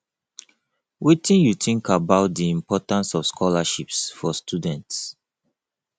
wetin you think about about di importance of scholarships for students